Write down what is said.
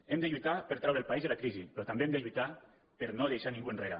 hem de lluitar per treure el país de la crisi però també hem de lluitar per no deixar ningú enrere